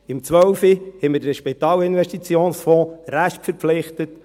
Im 2012 hatten wir den SIF restverpflichtet;